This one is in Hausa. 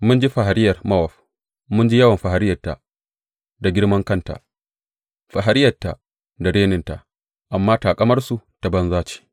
Mun ji fariyar Mowab, mun ji yawan fariyarta da girmankanta, fariyarta da reninta, amma taƙamarsu ta banza ce.